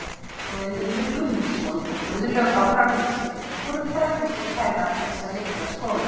Guðmundur Guðmundsson og Guðlaug á Framnesi voru frægustu kennarar þessa litla skóla.